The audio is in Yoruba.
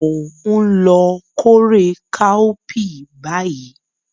Mo n lo kórè káópiì báyì